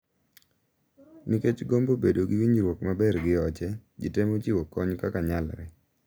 Nikech gombo bedo e winjruok maber gi oche, ji temo chiwo kony kaka nyalre.